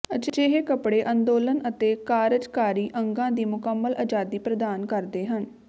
ਅਜਿਹੇ ਕੱਪੜੇ ਅੰਦੋਲਨ ਅਤੇ ਕਾਰਜਕਾਰੀ ਅੰਗਾਂ ਦੀ ਮੁਕੰਮਲ ਅਜ਼ਾਦੀ ਪ੍ਰਦਾਨ ਕਰਦੇ ਹਨ